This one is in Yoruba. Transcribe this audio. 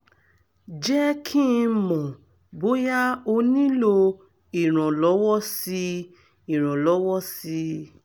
jẹ́ kí n mọ̀ bóyá o nílò ìrànlọ́wọ́ sí ìrànlọ́wọ́ sí i